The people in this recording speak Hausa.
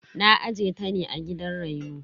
Na aje ta ne a gidan reno.